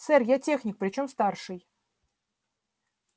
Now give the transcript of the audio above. сэр я техник причём старший